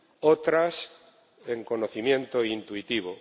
otras, en conocimiento intuitivo.